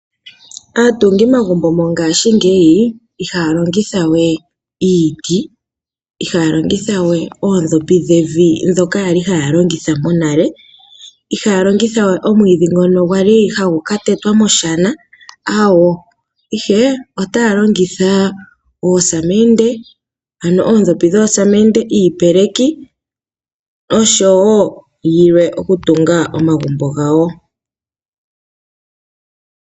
Aatungi magumbo monga shingeyi ihaya yalongithawe iiti, ihaya longithawe oodhopi dhevi dhoka yali haya longitha konale, ihaya longithawe omwiidhi ngono gwali hagu katetwa moshana awoo, ihe otaa longitha oosamendi ano oodhopi dhoosamendi, iipeleki oshowo yilwe okutunga omagumbo gawo.